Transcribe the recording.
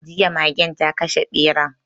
Jiya magen ta kashe beran